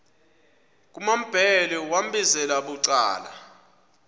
kumambhele wambizela bucala